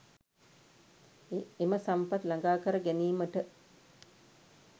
එම සම්පත් ළඟා කර ගැනීමට